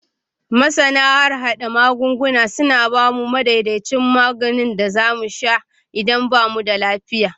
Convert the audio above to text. Masana harhada magunguna suna ba mu madaidaicin maganin da za mu sha idan ba mu da lafiya.